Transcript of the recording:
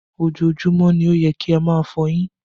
Ojoojúmọ́ ló yẹ kí a máa fọ eyín